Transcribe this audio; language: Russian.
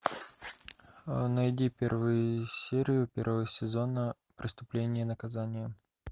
найди первую серию первого сезона преступление и наказание